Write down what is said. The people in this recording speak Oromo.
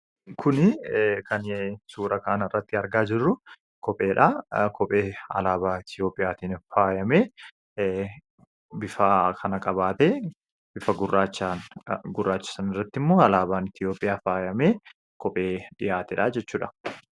Kun kan suuraa kanarratti argaa jirru kopheedha. Kophee alaabaa Itoophiyaa tiin faayamee bifa kana qabaatee bifa gurraacha sanarratti immoo alaabaan Itoophiyaa faayamee kophee dhiyaatedha jechuudha.